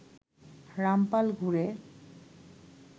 রামপাল ঘুরে